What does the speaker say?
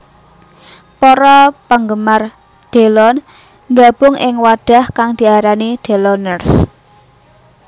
Para penggemar Delon nggabung ing wadhah kang diarani Deloners